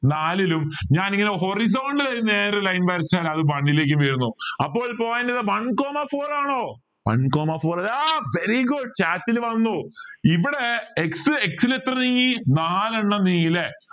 നാലിലും ഞാൻ ഇങ്ങനെ horizontal ന് നേരെ line വരച്ചാൽ അത് one ലേക്ക് വീഴുന്നു അപ്പോൾ point one comma four ആണോ one comma four ആ very good chat വന്നു ഇവിടെ x x ൽ എത്ര നീങ്ങി നാലെണ്ണം നീങ്ങി അല്ലെ